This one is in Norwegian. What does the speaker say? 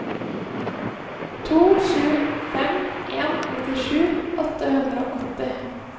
to sju fem en nittisju åtte hundre og åtti